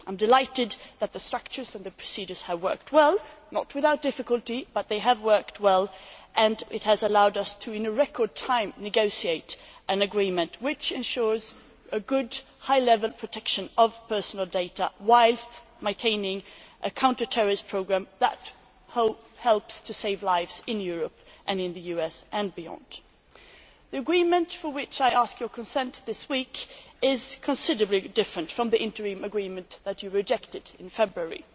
I am delighted that the structures and the procedures have worked well not without difficulty, but they have worked well and it has allowed us in record time to negotiate an agreement which ensures good high level protection of personal data, whilst maintaining a counter terrorist programme that helps to save lives in Europe and in the US and beyond. The agreement for which I ask your consent this week is considerably different from the interim agreement that you rejected in February.